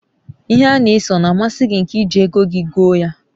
ihe ana ese o na amasi gi nke iji ego gi goo ya?